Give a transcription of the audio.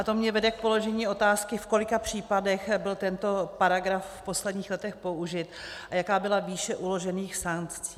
A to mě vede k položení otázky, v kolika případech byl tento paragraf v posledních letech použit a jaká byla výše uložených sankcí.